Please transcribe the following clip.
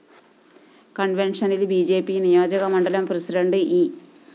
കണ്‍വെന്‍ഷനില്‍ B J P നിയോജകമണ്ഡലം president E